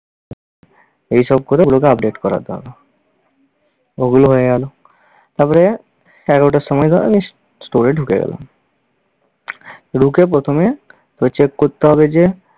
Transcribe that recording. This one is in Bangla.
এইসব করে এগুলোকে update করাতে হবে। ওগুলো হয়ে গেল। তারপরে এগারোটার সময় ধর আমি store এ ঢুকে গেলাম, ঢুকে প্রথমে তোকে check করতে হবে যে